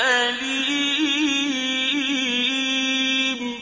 أَلِيمٌ